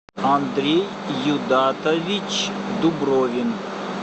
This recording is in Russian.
андрей юдатович дубровин